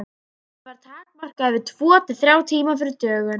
Svefn var takmarkaður við tvo til þrjá tíma fyrir dögun.